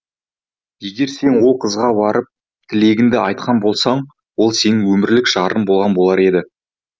егер сен ол қызға барып тілегіңді айтқан болсаң ол сенің өмірлік жарың болған болар еді